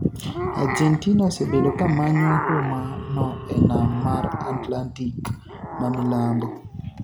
Argentina osebedo kamanyo huma no e nam mar Atlantic mamilambo